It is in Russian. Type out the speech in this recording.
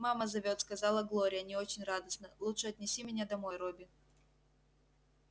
мама зовёт сказала глория не очень радостно лучше отнеси меня домой робби